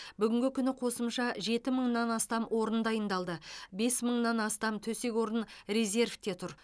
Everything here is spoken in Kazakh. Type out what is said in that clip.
бүгінгі күні қосымша жеті мыңнан астам орын дайындалды бес мыңнан астам төсек орын резервте тұр